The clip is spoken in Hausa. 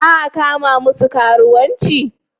Za a kama masu karuwanci?